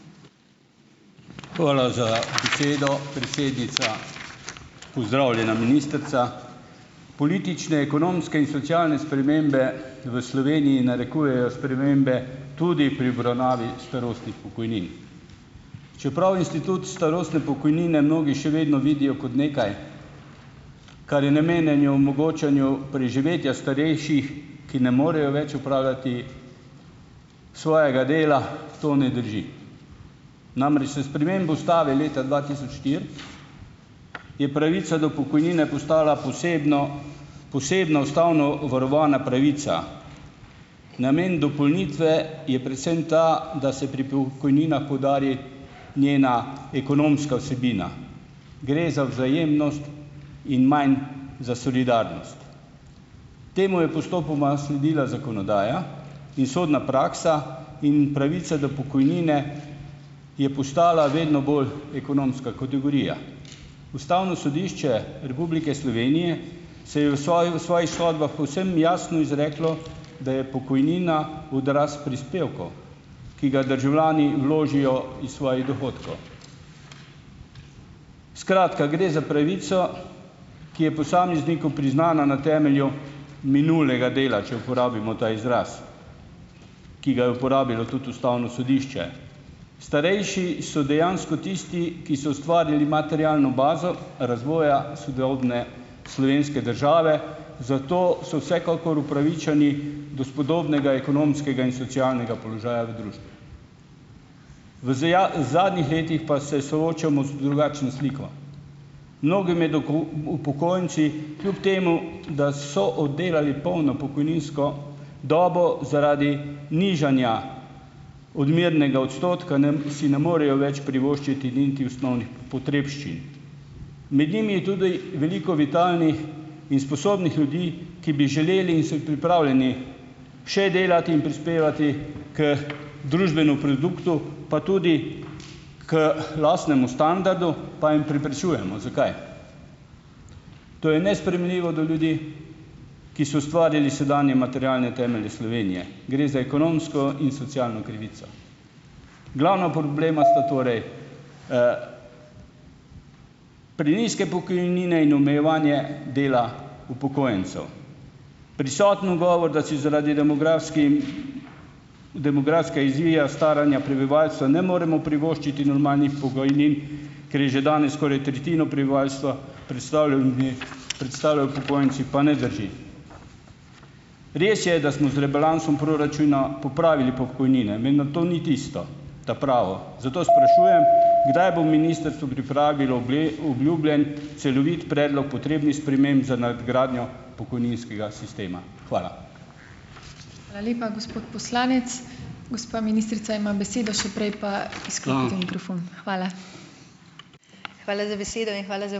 Hvala za besedo, predsednica. Pozdravljena ministrica. Politične, ekonomske in socialne spremembe v Sloveniji narekujejo spremembe tudi pri obravnavi starostnih pokojnin. Čeprav institut starostne pokojnine mnogi še vedno vidijo kot nekaj, kar je namenjeno omogočanju preživetja starejših, ki ne morejo več opravljati svojega dela. To ne drži, namreč s spremembo ustave leta dva tisoč štiri je pravica do pokojnine postala posebno posebna ustavno varovana pravica. Namen dopolnitve je predvsem ta, da se pri pokojninah poudari njena ekonomska vsebina. Gre za vzajemnost in manj za solidarnost. Temu je postopoma sledila zakonodaja in sodna praksa in pravica do pokojnine je postala vedno bolj ekonomska kategorija. Ustavno sodišče Republike Slovenije se je v v svojih sodbah povsem jasno izreklo, da je pokojnina odraz prispevkov, ki ga državljani vložijo iz svojih dohodkov. Skratka, gre za pravico, ki je posamezniku priznana na temelju minulega dela, če uporabimo ta izraz, ki ga je uporabilo tudi ustavno sodišče. Starejši so dejansko tisti, ki so ustvarili materialno bazo razvoja sodobne slovenske države, zato so vsekakor upravičeni do spodobnega ekonomskega in socialnega položaja v družbi. V zadnjih letih pa se soočamo z drugačno sliko. Mnogi med upokojenci kljub temu, da so oddelali polno pokojninsko dobo, zaradi nižanja odmernega odstotka si ne morejo več privoščiti niti osnovnih potrebščin. Med njimi je tudi veliko vitalnih in sposobnih ljudi, ki bi želeli in so pripravljeni še delati in prispevati k družbenemu produktu, pa tudi k lastnemu standardu, pa jim preprečujemo. Zakaj? To je nesprejemljivo do ljudi, ki so ustvarili sedanje materialne temelje Slovenije. Gre za ekonomsko in socialno krivico. Glavna problema sta torej, prenizke pokojnine in omejevanje dela upokojencev. Prisoten ugovor, da si zaradi demografskim demografske izvija staranja prebivalstva ne moremo privoščiti normalnih pokojnin, ker je že danes skoraj tretjino prebivalstva predstavljajo ljudi predstavljajo upokojenci, pa ne drži. Res je, da smo z rebalansom proračuna popravili pokojnine, vendar to ni tisto ta pravo. Zato sprašujem, kdaj bo ministrstvo pripravilo obljubljen celovit predlog potrebnih sprememb za nadgradnjo pokojninskega sistema. Hvala.